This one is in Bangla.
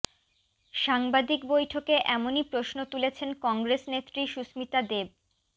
সাংবাদিক বৈঠকে এমনই প্রশ্ন তুলেছেন কংগ্রেস নেত্রী সুস্মিতা দেব